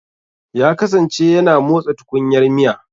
Ya kasance yana motsa tukunyar miya.